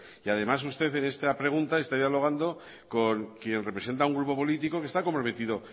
y además usted en este pregunta está dialogando con quien representa a un grupo político que está comprometido